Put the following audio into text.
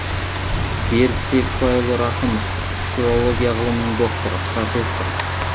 берік серікбайұлы рақымов филология ғылмының докторы профессор